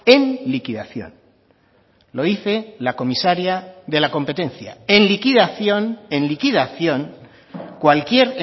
en liquidación lo dice la comisaria de la competencia en liquidación en liquidación cualquier